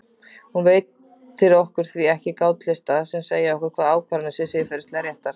Hún veitir okkur því ekki gátlista sem segja okkur hvaða ákvarðanir séu siðferðilega réttar.